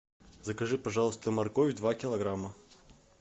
закажи пожалуйста морковь два килограмма